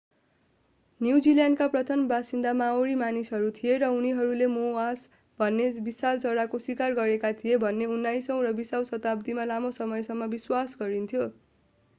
न्युजिल्यान्डका प्रथम बासिन्दा माओरी मानिसहरू थिए र उनीहरूले मोआस भन्ने विशाल चराको शिकार गरेका थिए भन्ने उन्नाइसौं र बीसौं शताब्दीमा लामो समयसम्म विश्वास गरिन्थ्यो